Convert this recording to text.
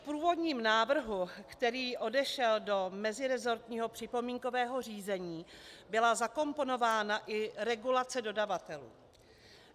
V původním návrhu, který odešel do meziresortního připomínkového řízení, byla zakomponována i regulace dodavatelů.